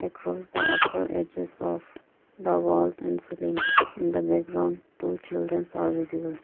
cross the upper edges of the wall and the ceiling in the background two childrens are visible.